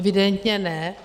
Evidentně ne.